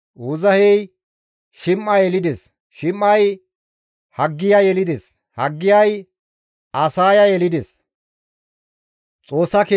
Uuzahey Shim7a yelides; Shim7ay Haggiya yelides; Haggiyay Asaaya yelides.